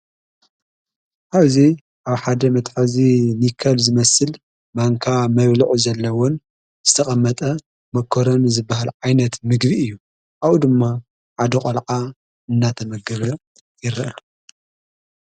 አብዚ ኣብ ሓደ መቅም እዙይ ኒከል ዝመስል ማንካ መብሉዕ ዘለውን ዝተቐመጠ መኰሮን ዝበሃል ዓይነት ምግቢ እዩ ኣው ድማ ዓደ ቖልዓ እናተመገበ ይረአ